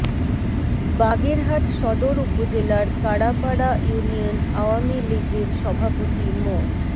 বাগেরহাট সদর উপজেলার কাড়াপাড়া ইউনিয়ন আওয়ামী লীগের সভাপতি মো